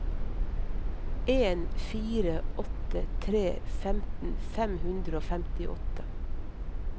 en fire åtte tre femten fem hundre og femtiåtte